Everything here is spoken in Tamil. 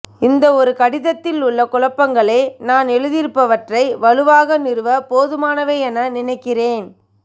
இந்த ஒரு கடிதத்தில் உள்ள குழப்பங்களே நான் எழுதியிருப்பவற்றை வலுவாக நிறுவ போதுமானவை என நினைக்கிறேன்